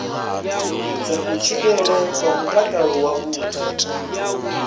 dza kutshilele kwa mutakalo wavhuḓi